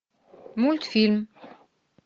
мультфильм